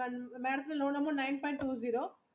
madam nine point two zero